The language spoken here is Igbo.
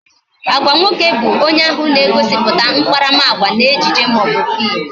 Agwa nwoke bu onye ahụ na-egosiputa akparamagwa n'ejije maọbu fim